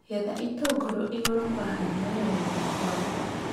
Getha itũngũrũ igũrũ kwahana yelo na kwagũa.